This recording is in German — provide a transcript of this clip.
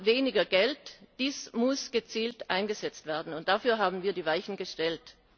Wir haben weniger Geld, dies muss gezielt eingesetzt werden, und dafür haben wir die Weichen gestellt.